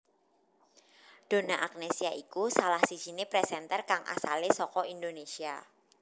Donna Agnesia iku salah sijiné presenter kang asale saka Indonésia